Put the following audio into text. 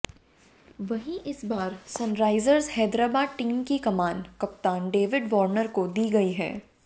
वहीं इस बार सनराईजर्स हैदराबाद टीम की कमान कप्तान डेविड वार्नर को दी गयी है